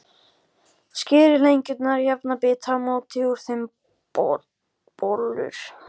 Skerið lengjurnar í jafna bita og mótið úr þeim bollur.